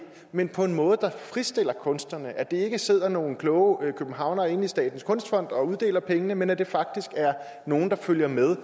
men på en måde der fritstiller kunstnerne så der ikke sidder nogle kloge københavnere inde i statens kunstfond og uddeler pengene men så det faktisk er nogle der følger med